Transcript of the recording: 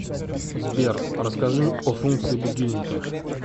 сбер расскажи о функции будильника